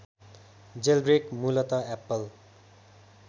jailbreak मुलत Apple